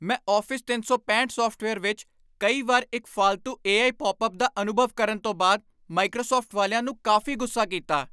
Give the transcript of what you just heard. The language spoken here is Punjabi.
ਮੈਂ ਆਫ਼ਿਸ ਤਿੰਨ ਸੌ ਪੈਂਹਠ ਸਾੱਫਟਵੇਅਰ ਵਿੱਚ ਕਈ ਵਾਰ ਇੱਕ ਫਾਲਤੂ ਏ ਆਈ ਪੌਪਅਪ ਦਾ ਅਨੁਭਵ ਕਰਨ ਤੋਂ ਬਾਅਦ ਮਾਈਕ੍ਰੋਸਾੱਫਟ ਵਾਲਿਆਂ ਨੂੰ ਕਾਫ਼ੀ ਗੁੱਸਾ ਕੀਤਾ